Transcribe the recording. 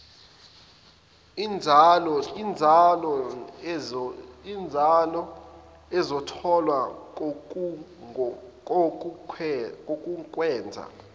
inzalo ezotholwa kokokwenza